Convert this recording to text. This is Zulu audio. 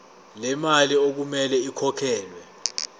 lemali okumele ikhokhelwe